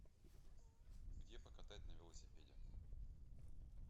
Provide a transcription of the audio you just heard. где покатать на велосипеде